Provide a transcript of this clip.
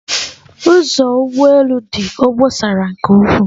Ụzọ ụgbọ elu dị obosara nke ukwuu